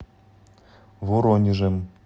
воронежем